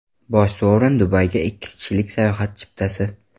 Bosh sovrin Dubayga ikki kishilik sayohat chiptasi!